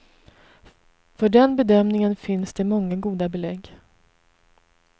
För den bedömningen finns det många goda belägg.